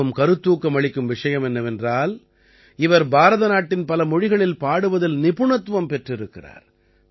மிகவும் கருத்தூக்கம் அளிக்கும் விஷயம் என்னவென்றால் இவர் பாரத நாட்டின் பல மொழிகளில் பாடுவதில் நிபுணத்துவம் பெற்றிருக்கிறார்